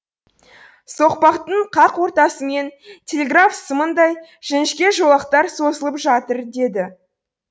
соқпақтың қақ ортасымен телеграф сымындай жіңішке жолақтар созылып жатыр еді